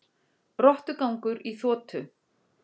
Rottugangur í þotu